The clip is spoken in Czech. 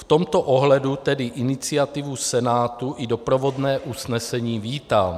V tomto ohledu tedy iniciativu Senátu i doprovodné usnesení vítám.